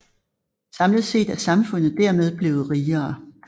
Samlet set er samfundet dermed blevet rigere